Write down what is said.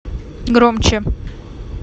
громче